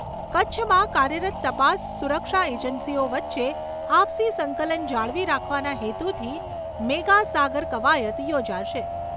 કચ્છમાં કાર્યરત તપાસ સુરક્ષા એજન્સીઓ વચ્ચે આપસી સંકલન જાળવી રાખવાના હેતુથી મેગા સાગર કવાયત યોજાશે.